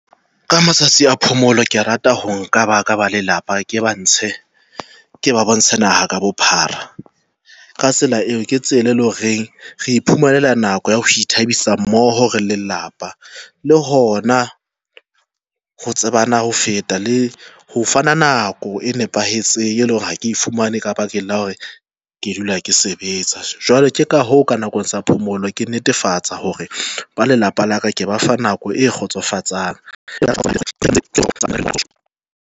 Ka matsatsi a phomolo ke rata ho nka ba ka ba lelapa, ke ba ntshe ke ba bontshe naha ka bophara. Ka tsela eo, ke tsela e le horeng re iphumanela nako ya ho ithabisa mmoho re le lelapa, le hona ho tsebana ho feta le ho fana nako e nepahetseng, e leng hore ha ke fumane ka bakeng la hore ke dula ke sebetsa, jwale ka hoo ka nako ya phomolo, ke netefatsa hore ba lelapa la ka ke ba fa nako e kgotsofatsang.